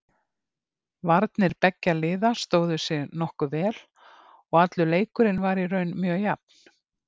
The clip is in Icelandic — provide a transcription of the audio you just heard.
Varnir beggja liða stóðu sig nokkuð vel og allur leikurinn var í raun mjög jafn.